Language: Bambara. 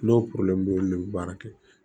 N'o le bɛ baara kɛ